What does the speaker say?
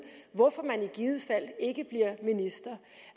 hvorfor man i givet fald ikke bliver minister